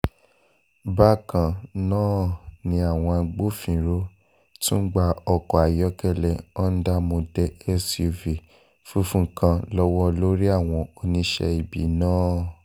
bákan náà ni àwọn agbófinró tún gba ọkọ̀ ayọ́kẹ́lẹ́ hond model suv funfun kan lọ́wọ́ olórí àwọn oníṣẹ́ ibi náà